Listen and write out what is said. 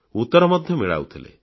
ସେ ଉତ୍ତର ମିଳାଉଥିଲେ